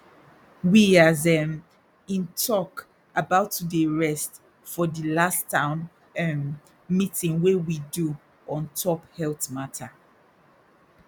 we as um in talk about to dey rest for di last town um meeting wey we do ontop health matter